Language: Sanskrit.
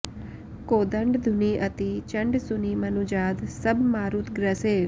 कोदंड धुनि अति चंड सुनि मनुजाद सब मारुत ग्रसे